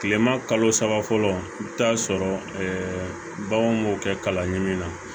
Kilema kalo saba fɔlɔ i bi taa sɔrɔ baganw b'o kɛ kala ɲini na